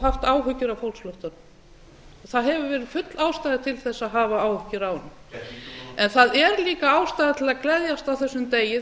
haft áhyggjur af fólksflóttanum það hefur verið full ástæða til þess að hafa áhyggjur af honum það er líka ástæða til að gleðjast á þessum degi